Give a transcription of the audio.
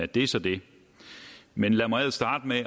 det er så det men lad mig starte med